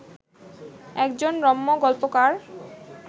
একজন রম্য গল্পকার